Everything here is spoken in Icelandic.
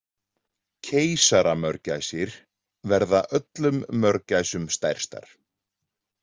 Keisaramörgæsir verða öllum mörgæsum stærstar.